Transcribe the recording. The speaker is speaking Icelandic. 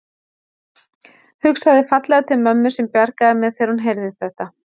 Hugsaði fallega til mömmu sem bjargaði mér þegar hún heyrði þetta.